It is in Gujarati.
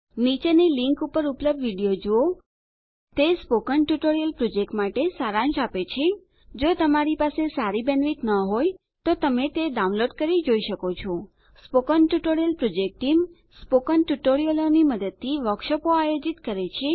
નીચેની લીંક ઉપર ઉપલબ્ધ વિડીયો જુઓ httpspoken tutorialorgWhat is a Spoken Tutorial તે સ્પોકન ટ્યુટોરીયલ પ્રોજેક્ટ માટે સારાંશ આપે છે જો તમારી પાસે બેન્ડવિડ્થ સારી ન હોય તો તમે તે ડાઉનલોડ કરીને જોઈ શકો છો spoken tutorial project team spoken ટ્યુટોરીયલોની મદદથી વર્કશોપો આયોજિત કરે છે